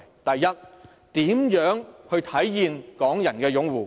第一，如何體現港人擁護？